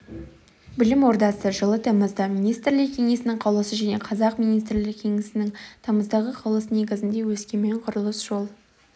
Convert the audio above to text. білім ордасы жылы тамызда министрлер кеңесінің қаулысы және қазақ министрлер кеңесінің тамыздағы қаулысы негізінде өскемен құрылыс-жол